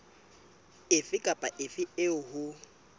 efe kapa efe eo ho